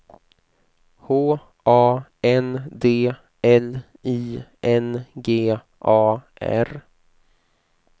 H A N D L I N G A R